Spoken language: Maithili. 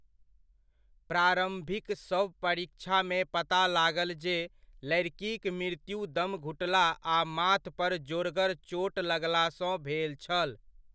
प्रारम्भिक शव परीक्षामे पता लागल जे लड़िकिक मृत्यु दम घुटला आ माथ पर जोरगर चोट लगलासँ भेल छल।